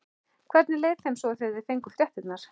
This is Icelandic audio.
Hvernig leið þeim svo þegar þeir fengu fréttirnar?